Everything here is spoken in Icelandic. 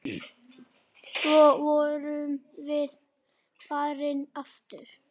Svo vorum við farin aftur.